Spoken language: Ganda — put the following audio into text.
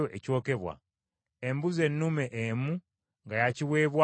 embuzi ennume emu nga ya kiweebwayo olw’ekibi;